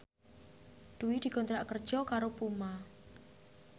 Dwi dikontrak kerja karo Puma